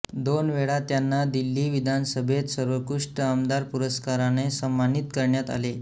दोन वेळा त्यांना दिल्ली विधानसभेत सर्वोत्कृष्ट आमदार पुरस्काराने सन्मानित करण्यात आले